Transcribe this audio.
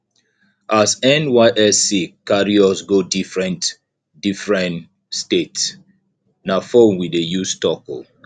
as nysc carry us go differen differen state na fone we dey use talk o